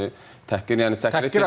Elə var yəni təhqir.